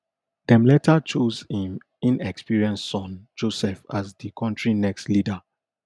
dem later chose im inexperienced son joseph as di kontri next leader